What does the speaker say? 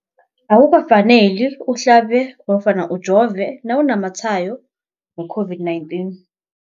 Akuka faneli uhlabe nofana ujove nawu namatshayo we-COVID-19.